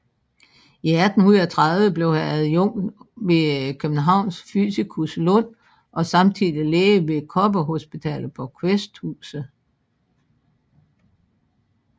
I 1830 blev han adjunkt hos Københavns fysikus Lund og samtidig læge ved Koppehospitalet på Kvæsthuset